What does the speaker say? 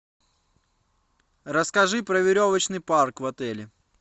расскажи про веревочный парк в отеле